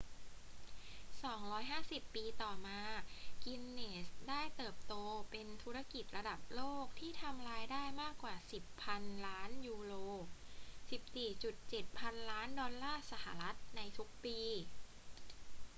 250 ปีต่อมา กินเนสส์ได้เติบโตเป็นธุรกิจระดับโลกที่ทำรายได้มากกว่า 10 พันล้านยูโร 14.7 พันล้านดอลลาร์สหรัฐ ในทุกปี